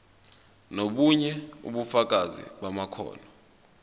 nobunye ubufakazi bamakhono